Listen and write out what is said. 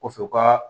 Kɔfɛ u ka